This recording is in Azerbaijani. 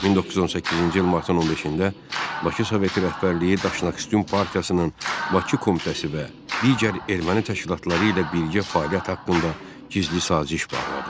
1918-ci il martın 15-də Bakı Soveti rəhbərliyi Daşnaksutyun Partiyasının Bakı Komitəsi və digər erməni təşkilatları ilə birgə fəaliyyət haqqında gizli saziş bağladı.